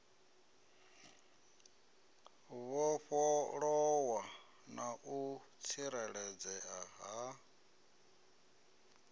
vhofholowa na u tsireledzea ha